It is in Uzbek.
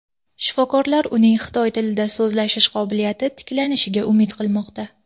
Shifokorlar uning xitoy tilida so‘zlashish qobiliyati tiklanishiga umid qilmoqda.